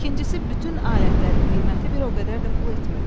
İkincisi bütün alətlərin qiyməti bir o qədər də pul etmirdi.